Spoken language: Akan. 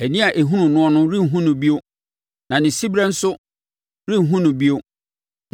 Ani a ɛhunu noɔ no renhunu no bio; na ne siberɛ nso renhunu no bio.